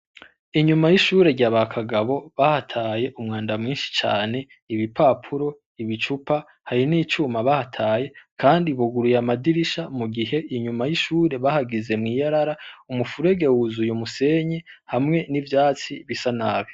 Inyuma y'ishure rya Bakagabo bahataye umwanda mwinshi cane, ibipapuro ibicupa, hari n'icuma bahataye ,kandi buguruy'amadirisha mugihe inyuma y 'ishure bahagize mw'iyarara umufurege wuzuye umusenyi ,hamwe n'ivyatsi bisa nabi.